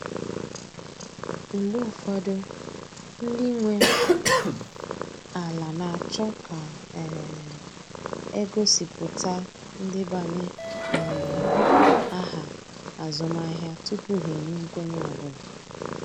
Mgbe ụfọdụ, ndị nwe ala na achọ ka um a gosipụta ndebanye um aha azụmahịa tupu ha enye nkwenye ọ bụla